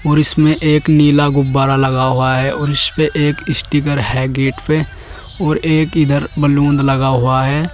और इसमें एक नीला गुब्बारा लगा हुआ है और इसपे एक स्टीकर है गेट पे और एक इधर बैलून लगा हुआ है।